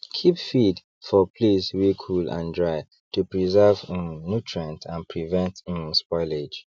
keep feed for place wey cool and dry to preserve um nutrient and prevent um spoilage